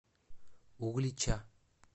углича